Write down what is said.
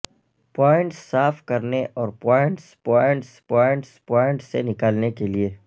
points صاف کرنے اور پوائنٹس پوائنٹس پوائنٹ پوائنٹس سے نکالنے کے لئے